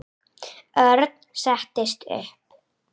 Örn settist upp.